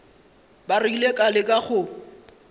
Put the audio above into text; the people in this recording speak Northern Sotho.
ba rile ka leka go